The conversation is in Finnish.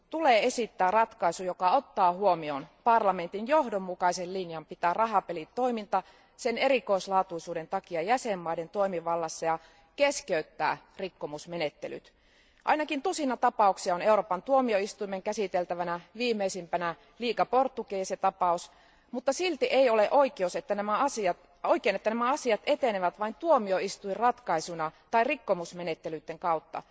tulee esittää ratkaisu, joka ottaa huomioon parlamentin johdonmukaisen linjan pitää rahapelitoiminta sen erikoislaatuisuuden takia jäsenvaltioiden toimivallassa, ja keskeyttää rikkomusmenettelyt. Ainakin tusina tapauksia on Euroopan tuomioistuimen käsiteltävänä, viimeisimpänä Liga Portuguesa tapaus, mutta silti ei ole oikein, että nämä asiat etenevät vain tuomioistuinratkaisuina tai rikkomusmenettelyitten kautta.